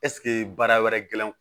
Ɛseke baara wɛrɛ gɛlɛn